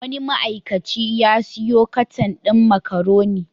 Wani ma'aikaci ya sayo katan din makaroni.